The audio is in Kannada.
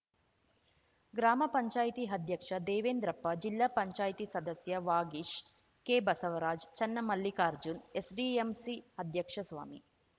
ಗ್ರಾಮ ಪಂಚಾಯಿತಿ ಅಧ್ಯಕ್ಷ ದೇವೆಂದ್ರಪ್ಪ ಜಿಲ್ಲಾ ಪಂಚಾಯ್ತಿ ಸದಸ್ಯ ವಾಗೀಶ್‌ ಕೆಬಸವರಾಜ್‌ ಚನ್ನಮಲ್ಲಿಕಾರ್ಜುನ್‌ ಎಸ್‌ಡಿಎಂಸಿ ಅಧ್ಯಕ್ಷ ಸ್ವಾಮಿ